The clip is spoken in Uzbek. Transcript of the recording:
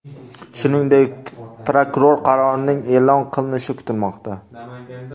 Shuningdek, prokuror qarorining e’lon qilinishi kutilmoqda.